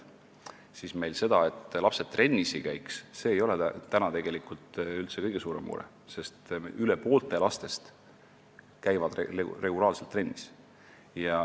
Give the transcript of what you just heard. See, et lapsed trennis ei käi, ei ole tegelikult üldse kõige suurem mure, sest üle poole lastest käivad regulaarselt trennis.